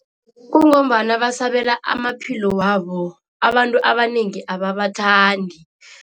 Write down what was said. Kungombana basabela amaphilo wabo, abantu abanengi ababathandi.